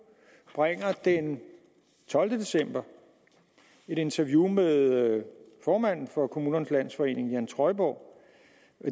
bringer den tolvte december et interview med formanden for kommunernes landsforening jan trøjborg